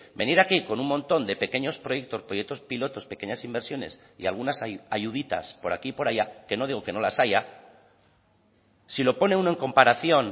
venir aquí con un montón de pequeños proyectos proyectos pilotos pequeñas inversiones y algunas ayuditas por aquí y por allá que no digo que no las haya si lo pone uno en comparación